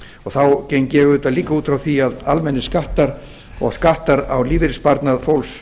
þá geng ég auðvitað líka út frá því að almennir skattar og skattar á lífeyrissparnað fólks